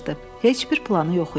Heç bir planı yox idi.